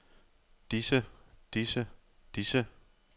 disse disse disse